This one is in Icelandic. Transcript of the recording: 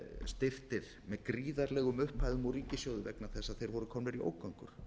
styrktir með gríðarlegum upphæðum úr ríkissjóði vegna þess að þeir voru komnir í ógöngur